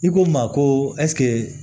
I ko n ma ko